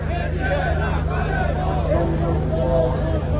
Ləbbeyk, Ya Hüseyn! Ləbbeyk, Ya Hüseyn!